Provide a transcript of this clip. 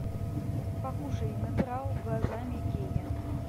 покушай натурал глазами гея